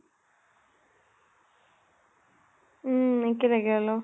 উম একে লাগে অলপ।